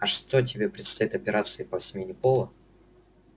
а что тебе предстоит операции по смене пола